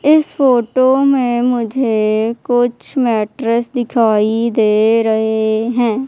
इस फोटो में मुझे कुछ मैट्रेस दिखाई दे रहे हैं।